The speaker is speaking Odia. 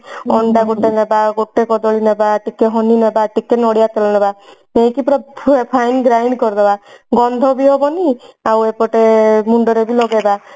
ଅଣ୍ଡା ଗୋଟେ ନବା ଗୋଟେ କଦଳୀ ନବା ଟିକେ honey ନବା ଟିକେ ନଡିଆ ତେଲ ନବା ନେଇକି ପୁରା fine grind କରିଦେବା ଗନ୍ଧ ବି ହେବନି ଆଉ ଏପଟେ ମୁଣ୍ଡରେ ବି ଲଗେଇବା